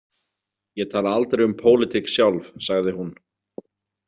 Ég tala aldrei um pólitík sjálf, sagði hún.